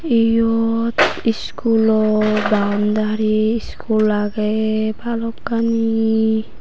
eyot schoolo boundary school agey balokkani.